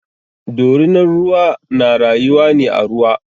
Dorinar ruwa na rayuwa ne a ruwa.